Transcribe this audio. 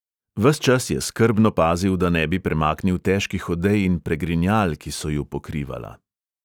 Ves čas je skrbno pazil, da ne bi premaknil težkih odej in pregrinjal, ki so ju pokrivala.